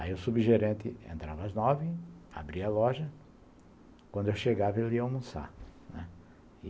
Aí o subgerente entrava às nove, abria a loja, quando eu chegava ele ia almoçar, né.